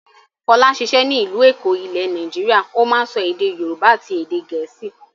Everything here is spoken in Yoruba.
Fọlá ń ṣiṣẹ́ ní ìlú Èkó ilẹ̀ Nàìjíríà, ó máa ń sọ èdè Yorùbá àti èdè Gẹ̀ẹ́sì.